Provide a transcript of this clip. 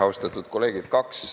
Austatud kolleegid!